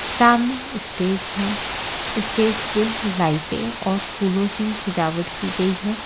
सामने स्टेज है स्टेज पे लाइटें और फूलों सी सजावट की गई है।